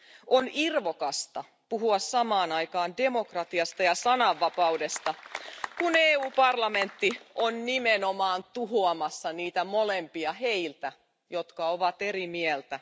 On irvokasta puhua samaan aikaan demokratiasta ja sananvapaudesta, kun EU parlamentti on nimenomaan tuhoamassa niitä molempia heiltä, jotka ovat eri mieltä.